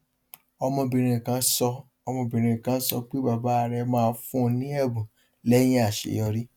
ọmọbìnrin kan sọ ọmọbìnrin kan sọ pé bàbá rẹ máa fún un ní ẹbùn lẹyìn àìṣeyọrí